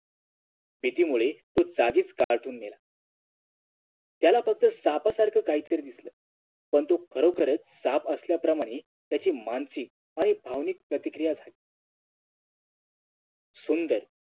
भीतीमुळे तो आधीच घाबरून मेला त्याला फक्त सापासारखा काहीतरी दिसल पण तो खरोखरच साप असल्याप्रमाणे त्याची मानसिक आणि भावनिक प्रतिक्रिया झाली सुंदर